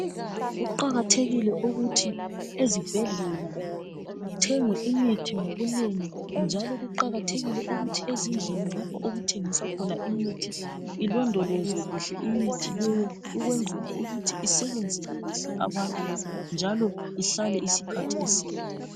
Kuqakathekile ukuthi ezibhedlela kuthengwe imithi ngobunengi njalo kuqakathekile ukuthi ezindlini lapho okuthengiswa khona imithi ilondolozwe kuhle imithi leyo ukwenzela ukuthi isebenzele kuhle abantu njalo ihlale isikhathi eside.